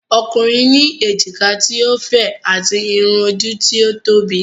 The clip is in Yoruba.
Ọkùnrin ní èjìká ti o fẹ̀, ati Irun ojú tí ó tóbi.